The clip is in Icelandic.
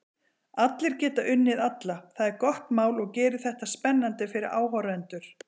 Allir geta unnið alla, það er gott mál og gerir þetta spennandi fyrir áhorfendur.